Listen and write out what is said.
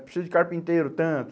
Precisa de carpinteiro, tanto.